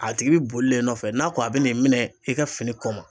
A tigi bi boli la e nɔfɛ n'a ko a bi n'e minɛ e ka fini kɔ ma